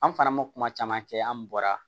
An fana ma kuma caman kɛ an bɔra